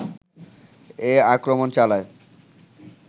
এ আক্রমণ চালায়